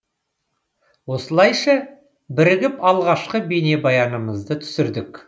осылайша бірігіп алғашқы бейнебаянымызды түсірдік